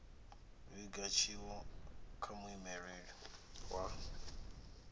vhiga tshiwo kha muimeleli wa